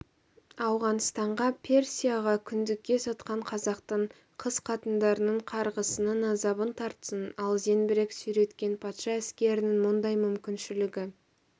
ауғанстанға персияға күңдікке сатқан қазақтың қыз-қатындарының қарғысының азабын тартсын ал зеңбірек сүйреткен патша әскерінің мұндай мүмкіншілігі